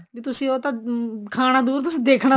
ਵੀ ਉਹ ਤਾਂ ਖਾਣਾ ਦੁਰ ਤੁਸੀਂ ਦੇਖਣਾ ਵੀ